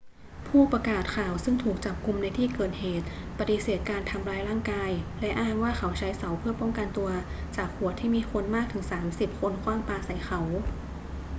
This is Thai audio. ผู้ประกาศข่าวซึ่งถูกจับกุมในที่เกิดเหตุปฏิเสธการทำร้ายร่างกาย และอ้างว่าเขาใช้เสาเพื่อป้องกันตัวจากขวดที่มีคนมากถึงสามสิบคนขว้างปาใส่เขา